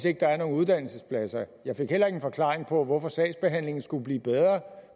ikke er nogen uddannelsespladser jeg fik heller ingen forklaring på hvorfor sagsbehandlingen skulle blive bedre